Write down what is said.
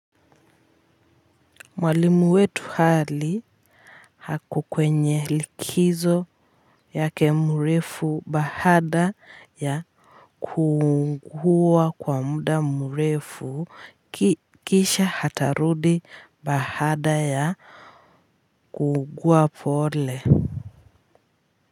Mwalimu wetu Ali, ako kwenye likizo yake mrefu baada ya kuugua kwa muda mrefu kisha atarudi baada ya kuugua pole.